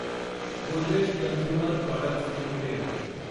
Godrej consumer products limited